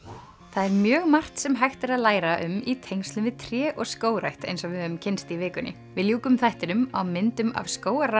það er mjög margt sem hægt er að læra um í tengslum við tré og skógrækt eins og við höfum kynnst í vikunni við ljúkum þættinum á myndum af